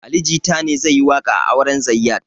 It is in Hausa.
Ali jita ne zai yi waƙa a auren zayyad